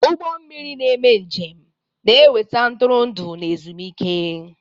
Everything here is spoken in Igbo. Ụgbọ mmiri na-eme njem na-eweta ntụrụndụ n'ezumike.